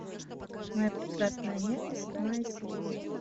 моя прекрасная няня седьмая серия